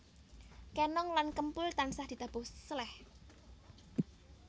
Kenong lan kempul tansah ditabuh seleh